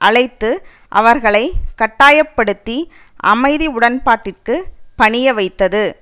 அழைத்து அவர்களை கட்டாயப்படுத்தி அமைதி உடன்பாட்டிற்கு பணிய வைத்தது